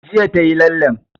Jiya ta yi lallen